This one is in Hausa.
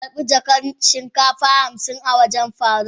Zan karba jakan shinkafa hamsin a wajen faruk.